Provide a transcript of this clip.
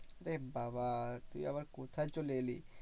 এ বাবা তুই আবার কোথায় চলে এলি?